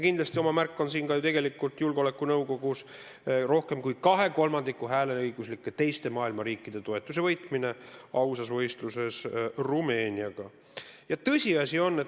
Kindlasti on oma märk siin ka julgeolekunõukogus rohkem kui kahe kolmandiku teiste maailma hääleõiguslike riikide toetuse võitmine ausas võitluses Rumeeniaga.